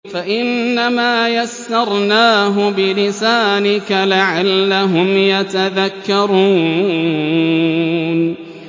فَإِنَّمَا يَسَّرْنَاهُ بِلِسَانِكَ لَعَلَّهُمْ يَتَذَكَّرُونَ